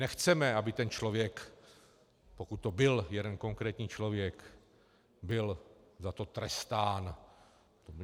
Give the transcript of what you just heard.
Nechceme, aby ten člověk, pokud to byl jeden konkrétní člověk, byl za to trestán.